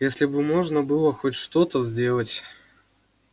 если бы можно было хоть что-то сделать